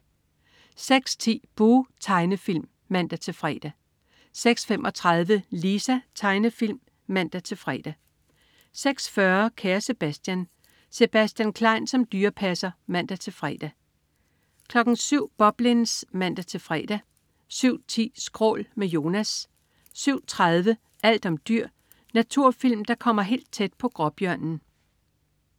06.10 Buh! Tegnefilm (man-fre) 06.35 Lisa. Tegnefilm (man-fre) 06.40 Kære Sebastian. Sebastian Klein som dyrepasser (man-fre) 07.00 Boblins (man-fre) 07.10 Skrål. Med Jonas 07.30 Alt om dyr. Naturfilm, der kommer helt tæt på gråbjørnen